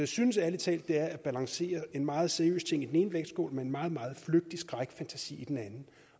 synes ærlig talt at det er at balancere en meget seriøs ting i den ene vægtskål med en meget meget flygtig skrækfantasi i den